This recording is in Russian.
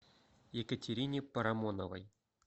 екатерине парамоновой